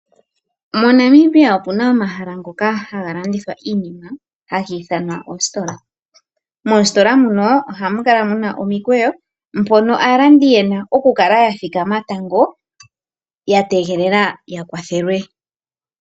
MoNamibia opu na omahala ngoka haga landithwa hagi ithanwa oositola. Moositola muno ohamu kala mu na omikweyo mpono aalandi ye na okukala ya thikama tango ya tegelela ya kwathelwe.